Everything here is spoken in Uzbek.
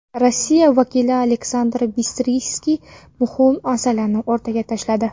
Rossiya vakili Aleksandr Bistritsskiy muhim masalani o‘rtaga tashladi.